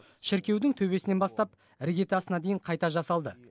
шіркеудің төбесінен бастап іргетасына дейін қайта жасалды